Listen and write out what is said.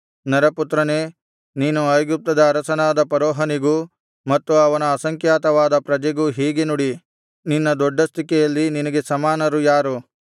ನರಪುತ್ರನೇ ನೀನು ಐಗುಪ್ತದ ಅರಸನಾದ ಫರೋಹನಿಗೂ ಮತ್ತು ಅವನ ಅಸಂಖ್ಯಾತವಾದ ಪ್ರಜೆಗೂ ಹೀಗೆ ನುಡಿ ನಿನ್ನ ದೊಡ್ಡಸ್ತಿಕೆಯಲ್ಲಿ ನಿನಗೆ ಸರಿಸಮಾನರು ಯಾರು